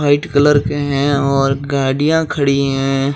White colour के हैं और गाड़ियां खड़ी हैं।